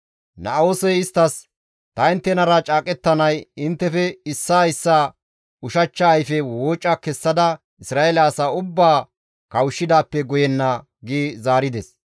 Na7oosey isttas, «Ta inttenara caaqettanay inttefe issaa issaa ushachcha ayfe wooca kessada Isra7eele asaa ubbaa kawushshidaappe guyenna» gi zaarides.